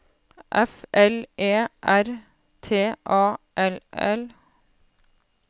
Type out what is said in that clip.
F L E R T A L L